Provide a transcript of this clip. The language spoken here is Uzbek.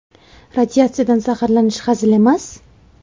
Radiatsiyadan zaharlanish hazil emas.